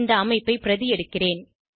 இந்த அமைப்பை பிரதி எடுக்கிறேன்